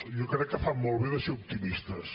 jo crec que fan molt bé de ser optimistes